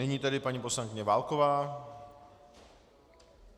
Nyní tedy paní poslankyně Válková.